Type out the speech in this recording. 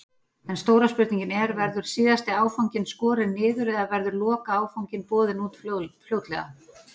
En stóra spurningin er, verður síðasti áfanginn skorinn niður eða verður lokaáfanginn boðinn út fljótlega?